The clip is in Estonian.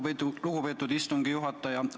Aitäh, lugupeetud istungi juhataja!